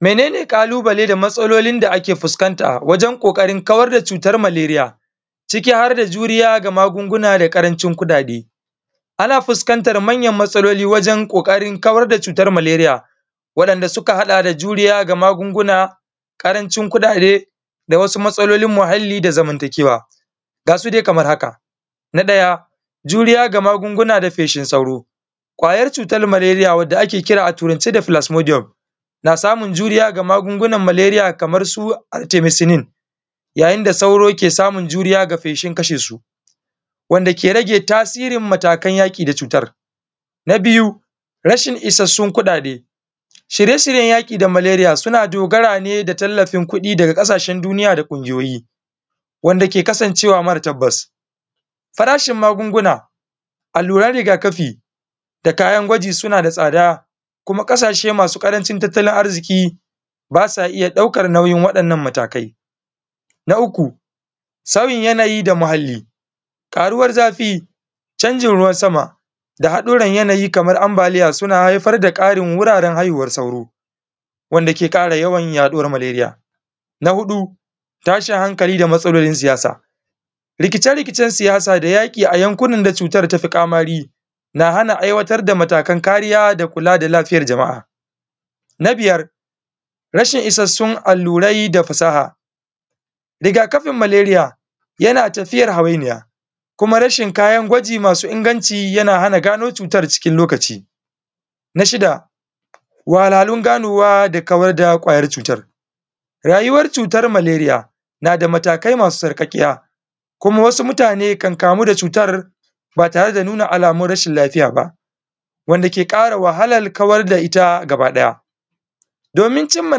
Mene ne ƙalubale da matsalolin da ake fuskanta a wajen ƙoƙarin kawar da cutar malaria ciki har da juriya ga magunguna da ƙarancin kuɗaɗe, ana fuskantar manyan matsaloli wajen kawar da cutar maleria waɗanda suka haɗa da juriya da da magungunan ƙarancin kuɗaɗe da wasu matsalolin muhalli da zamantakewa. Ga su dai kamar, juriya da magungunan da feshin sauro, kwayar cutar maleria wanda ake kira a turance da plasmodium na samun juriya ga magungunan maleria kamar su antimacinin wanda sauro ki samun juriya donin kashe su wanda ke rage tasirin matakan yaki da cutar. Na biyu isassun kuɗaɗe, shirye-shiryen yaki da maleria suna dogaran ne ga talafin kuɗi daga kasashen duniya na kungiyoyin, wanda ke kasancewa mafi tabbas. Farashin magunguna, alluran riga-kafi da kayan gwaji suna da tsada kuma kasashe masu ƙarancin tattalin arziƙi ba su iya daukar nauyi waɗannan matakai. Na uku sauyi yanayi da muhalli, karuwar zafi canjin yanayi da haɗuran yanayi kamar ambaliya suna haifar da karin wuraren haifar da kaarywar sauro, wanda ke ƙara yawan yaɗuwar maleria. Na huɗu tashi hankali da matsalolin siyasa, rike-riken siyasa da yaki an yankuna da cutar tafi ƙamari na hana ayyukan kula da lafiyar jama'a. Na biyar rashin isassun allurai da fasaha, riga kafin maleria yana tafiyar hawainiya kuma rashin kayan gwaji masu inganci yana hana gano cutar cikin lokaci. Na shida wahalhalun ganowa da kawar da kwayar cutar malaria, rayuwar cutar maleria na da matakai masu sauƙaƙiya, kuma wasu mutane kan kamu da cutar ba tare da nuna alamar rashin lafiya ba, wanda ke ƙara wahalar kawar da ita gaba ɗaya. Domin cimma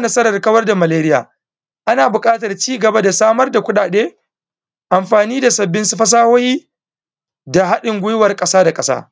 nasarar kawar da malaria, ana buƙatar samar da kuɗaɗe amfani da sabbin fasahohi da hadin guiwar ƙasa da ƙasa